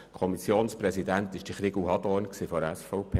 Der Kommissionspräsident war Grossrat Hadorn von der SVP.